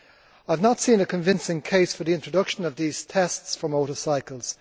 I have not seen a convincing case for the introduction of these tests for motorcycles.